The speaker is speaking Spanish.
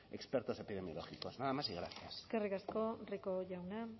expertos epidemiológicos nada más y gracias eskerrik asko rico jauna